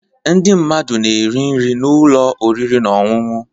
Ndị mmadụ na-eri nri na ụlọ oriri na ọṅụṅụ.